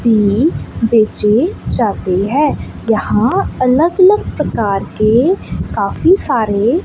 tin बेचे जाते है यहां अलग अलग प्रकार के काफी सारे--